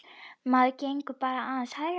Maður gengur bara aðeins hægar.